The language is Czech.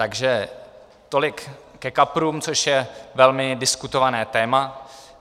Takže tolik ke kaprům, což je velmi diskutované téma.